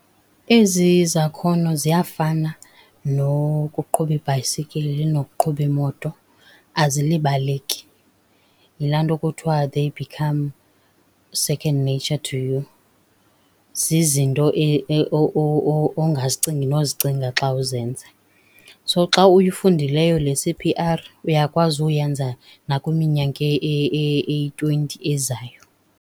Ezi zakhono ziyafana nokuqhuba ibhayisikili nokuqhuba imoto, azilibaleki. Yilaa nto kuthiwa they become second nature to you. Zizinto ongazicingi nozicinga xa uzenza. So, xa uyifundileyo le C_P_R uyakwazi uyenza nakwiminyaka eyi-twenty ezayo.